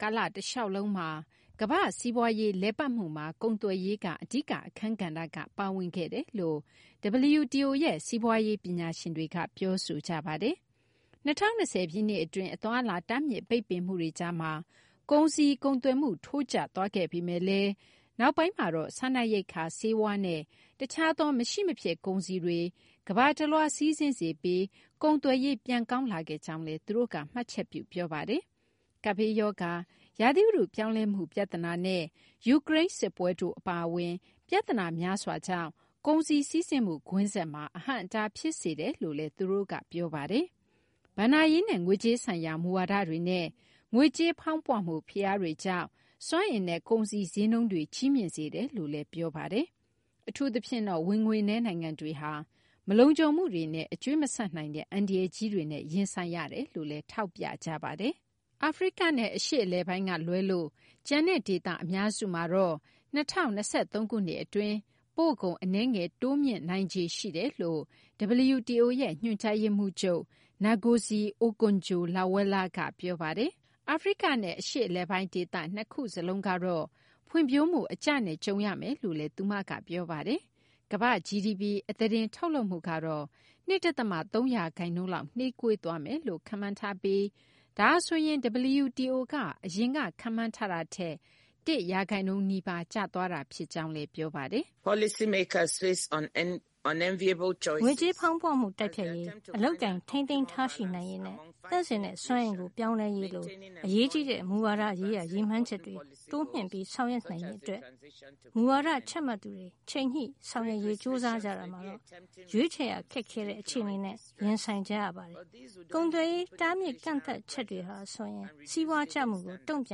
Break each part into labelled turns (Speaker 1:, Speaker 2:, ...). Speaker 1: ကာလ တလျှောက်လုံးမှာ ကမ ္ဘာ့စီးပွားရေး လည်ပတ်မှုမှာ ကုန်သွယ်ရေးက အဓိက အခန်းကဏ္ဍက ပါဝင်ခဲ့တယ်လို့ WTO ရဲ့ စီးပွားရေး ပညာရှင်တွေက ပြောဆိုကြပါတယ်။ ၂၀၂၀ ပြည့်နှစ် အတွင်း အသွားအလာ တားမြစ်ပိတ်ပင်မှုတွေကြားမှာ ကုန်စည် ကုန်သွယ်မှု ထိုးကျသွားခဲ့ပေမယ့်လည်း နောက်ပိုင်းမှာတော့ စားနပ်ရိက္ခာ၊ ဆေးဝါးနဲ့ တခြားသော မရှိမဖြစ် ကုန်စည်တွေ ကမ ္ဘာတလွှား စီးဆင်းစေပြီး ကုန်သွယ်ရေး ပြန်ကောင်းလာခဲ့ကြောင်းလည်း သူတို့က မှတ်ချက်ပြု ပြောဆိုပါတယ်။ ကပ်ဘေးရောဂါ၊ ရာသီဥတု ပြောင်းလဲမှု ပြဿနာနဲ့ ယူကရိန်း စစ်ပွဲတို့ အပါအဝင် ပြဿနာ များစွာကြောင့် ကုန်စည် စီးဆင်းမှု ကွင်းဆက်မှာ အဟန့်အတားဖြစ်စေတယ်လို့လည်း သူတို့က ပြောပါတယ်။ ဘဏ္ဍာရေးနဲ့ ငွေကြေးဆိုင်ရာ မူဝါဒတွေနဲ့ ငွေကြေးဖောင်းပွမှု ဖိအားတွေကြောင့် စွမ်းအင်နဲ့ ကုန်စည် ဈေးနှုန်းတွေ ကြီးမြင့်စေတယ်လို့လည်း ပြောပါတယ်။ အထူးသဖြင့်တော့ ဝင်ငွေနည်း နိုင်ငံတွေဟာ မလုံခြုံမှုတွေနဲ့ အကြွေးမဆပ်နိုင်တဲ့ အန္တရာယ်ကြီးတွေနဲ့ ရင်ဆိုင်ရတယ်လို့လည်း ထောက်ပြပါတယ်။ အာဖရိကနဲ့ အရှေ့အလယ်ပိုင်းက လွဲလို့ ကျန်တဲ့ ဒေသ အများစုမှာတော့ ၂၀၂၃ ခုနှစ် အတွင်း ပို့ကုန် အနည်းငယ် တိုးမြင့်နိုင်ခြေ ရှိတယ်လို့ WTO ရဲ့ ညွှန်ကြားရေးမှူးချုပ် Ngozi Okonjo-Iweala က ပြောပါတယ်။ အာဖရိကနဲ့ အရှေ့အလယ်ပိုင်း ဒေသ နှစ်ခုစလုံးကတော့ ဖွံ့ဖြိုးမှု အကျနဲ့ ကြုံရမယ်လို့ သူမက ပြောပါတယ်။ ကမ ္ဘာ့ GDP အသားတင် ထုတ်လုပ်မှု ကတော့ ၂ ဒသမ ၃ ရာခိုင်နှုန်းလောက် နှေးကွေးမယ်လို့ ခန့်မှန်းထားပြီး ဒါဟာဆိုရင် WTO က အရင်က ခန့်မှန်းထားတာထက် ၁ ရာခိုင်နှုန်းနီးပါး ကျသွားတာ ဖြစ်ကြောင်းလည်း ပြောပါတယ်
Speaker 2: ။ ငွေကြေးဖောင်းပွမှု တိုက်ဖျက်ရေး၊ အလုပ်အကိုင် ထိန်းသိမ်းထားရှိနိုင်ရေးနဲ့ သန့်စင်တဲ့ စွမ်းအင်ကို ပြောင်းလဲရေးလို အရေးကြီးတဲ့ မူဝါဒရေးရာ ရည်မှန်းချက်တွေ တိုးမြှင့် ဆောင်ရွက်နိုင်ရေး အတွက် မူဝါဒ ချမှတ်သူတွေ ချိန်ညှိဆောင်ရွက်ရေး ကြိုးစားကြတာမှာတော့ ရွေးချယ်ရ ခက်ခဲတဲ့ အခြေအနေနဲ့ ရင်ဆိုင်ကြရပါတယ်။ ကုန်သွယ်ရေး တားမြစ်ကန့်သတ်ချက်တွေဟာဆိုရင် စီးပွားကျမှုကို တုံ့ပြ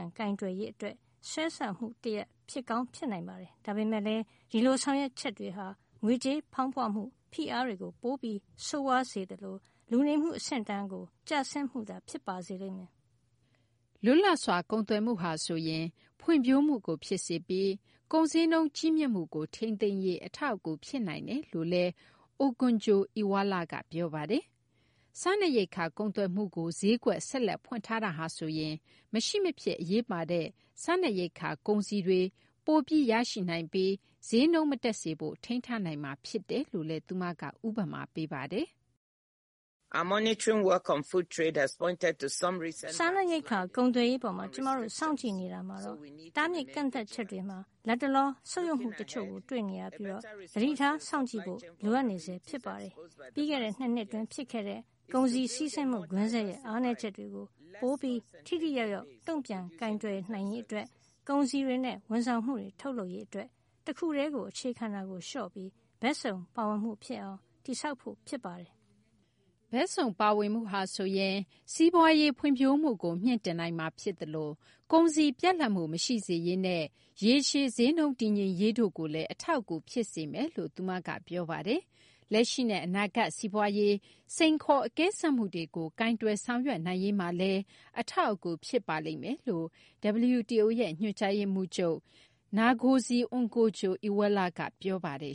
Speaker 2: န်ကိုင်တွယ်ရေး အတွက် ဆွဲဆောင်မှု တရပ် ဖြစ်ကောင်း ဖြစ်နိုင်ပါတယ်။ ဒါပေမယ့်လည်း ဒီလို ဆောင်ရွက်ချက်တွေဟာ ငွေကြေးဖောင်းပွမှု ဖိအားတွေကို ပိုပြီး ဆိုးရွားသွားစေပြီး လူနေမှု အဆင့်အတန်းကို ကျဆင်းစေမှုကိုသာ ဖြစ်စေပါလိမ့်မယ်
Speaker 1: ။ လွတ်လပ်စွာ ကုန်သွယ်မှုဟာ ဆိုရင် ဖွံ့ဖြိုးမှုကို ဖြစ်စေပြီး ကုန်ဈေးနှုန်း ကြီးမြင့်မှုကို ထိန်သိမ်းရေး အထောက်အကူ ဖြစ်နိုင်တယ်လို့လည်း Okonjo-Iweala က ပြောပါတယ်။ စားနပ်ရိက္ခာ ကုန်သွယ်မှုကို ဈေးကွက် ဆက်လက် ဖွင့်ထားတာဟာ ဆိုရင် မရှိမဖြစ် အရေးပါတဲ့ စားနပ်ရိက္ခာ ကုန်စည်တွေ ပိုပြီး ရရှိနိုင်ပြီး ဈေးနှုန်း မတက်စေဖို့ ထိန်းထားနိုင်မှာ ဖြစ်တယ်လို့လည်း သူမက ဥပမာ ပေးပါတယ်။
Speaker 2: စားနပ်ရိက္ခာ ကုန်သွယ်ရေး အပေါ် ကျမတို့ စောင့်ကြည့်နေတာမှာတော့ တားမြစ်ကန့်သတ်ချက်တွေမှာ လတ်တလော ဆုတ်ယုတ်မှု တချို့ကို တွေ့နေရပြီး သတိထား စောင့်ကြည့်ဖို့ လိုအပ်နေဆဲ ဖြစ်ပါတယ်။ ပြီးခဲ့တဲ့ ၂ နှစ် အတွင်း ဖြစ်ခဲ့တဲ့ ကုန်စည် စီးဆင်းမှု ကွင်းဆက်ရဲ့ အားနည်းချက်တွေကို ပိုပြီး ထိထိရောက်ရောက် တုံ့ပြန်ကိုင်နိုင်ရေး အတွက် ကုန်စည်တွေနဲ့ ဝန်ဆောင်မှုတွေ ထုတ်လုပ်ရေး အတွက် တခုတည်းကို အခြေခံတာလျှော့ပြီး ဘက်စုံပါဝင်မှု ဖြစ်အောင် တည်ဆောက်ဖို့ ဖြစ်ပါတယ်။ ဘက်
Speaker 1: စုံ ပါဝင်မှုဟာဆိုရင် စီးပွားရေး ဖွံ့ဖြိုးမှုကို မြှင့်တင်နိုင်မှာ ဖြစ်သလို ကုန်စည် ပြတ်လပ်မှု မရှိစေရေးနဲ့ ရေရှည် ဈေးနှုန်း တည်ငြိမ်ရေးတို့ကိုလည်း အထောက်အကူ ဖြစ်စေမယ်လို့ သူမက ပြောပါတယ်။ လက်ရှိနဲ့ အနာဂတ် စီးပွားရေး စိန်ခေါ်အကဲစမ်းမှုတွေကို ကိုင်တွယ် ဆောင်ရွက်နိုင်ရေးမှာလည်း အထောက်အကူ ဖြစ်ပါလိမ့်မယ်လို့ WTO ရဲ့ ညွှန်ကြားရေးမှူးချုပ် Ngozi Okonjo-Iweala က ပြောပါတယ်